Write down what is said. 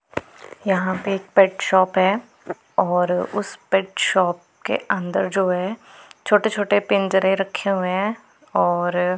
यहां पे एक पेट शॉप है और उस पेट शॉप के अंदर जो है छोटे छोटे पिंजरे रखे हुए हैं और--